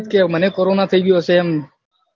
કે મને કોરોના થઈ ગયો હશે એમ